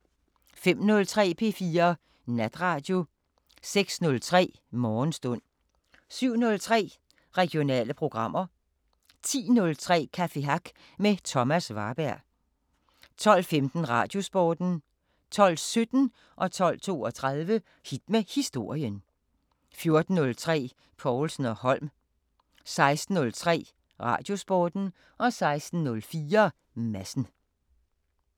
05:03: P4 Natradio 06:03: Morgenstund 07:03: Regionale programmer 10:03: Café Hack med Thomas Warberg 12:15: Radiosporten 12:17: Hit med historien 12:32: Hit med historien 14:03: Povlsen & Holm 16:03: Radiosporten 16:04: Madsen